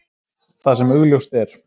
Það sem augljóst er!